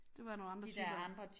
Det var nogle andre typer